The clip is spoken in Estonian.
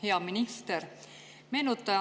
Hea minister!